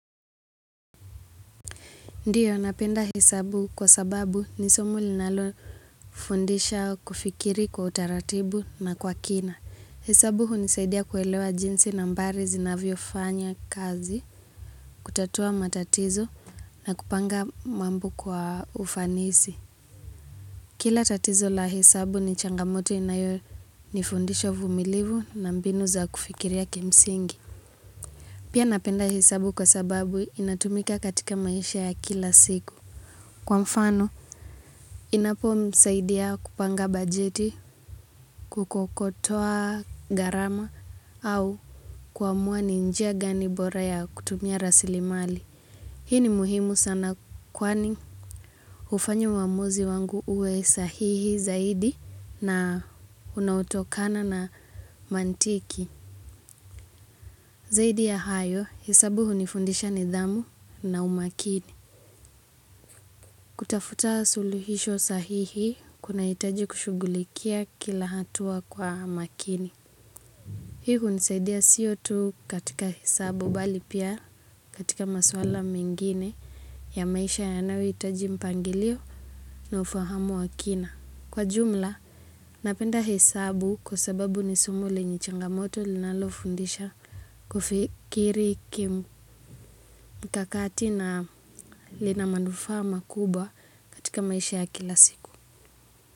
Ndio, napenda hesabu kwa sababu nisomo linalo fundisha kufikiri kwa utaratibu na kwa kina. Hesabu hunisaidia kuelewa jinsi na mbari zinavyo fanya kazi, kutatua matatizo na kupanga mambo kwa ufanisi. Kila tatizo la hesabu ni changamoto inayo nifundisha uvumilivu na mbinu za kufikiria kimsingi. Pia napenda hesabu kwa sababu inatumika katika maisha ya kila siku. Kwa mfano, inapo nsaidia kupanga bajeti, kukokotoa garama au kuamua ni njia gani bora ya kutumia rasili mali. Hii ni muhimu sana kwani ufanya uamuzi wangu uwe sahihi zaidi na unaotokana na mantiki. Zaidi ya hayo, hesabu hu ni fundisha nidhamu na umakini. Kutafuta suluhisho sahihi, kuna itaji kushugulikia kila hatua kwa makini. Hii hunisaidia sio tu katika hesabu, bali pia katika masuala mengine ya maisha yanayohitaji mpangilio na ufahamu wakina. Kwa jumla, napenda hesabu kwa sababu ni somo lenye changamoto linalofundisha kufikiri kim kakati na lina manufaa makubwa katika maisha ya kila siku.